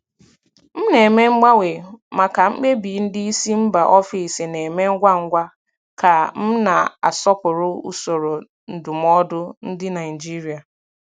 M na-eme mgbanwe maka mkpebi ndị isi mba ofesi na-eme ngwa ngwa ka m na-asọpụrụ usoro ndụmọdụ ndị Naijiria.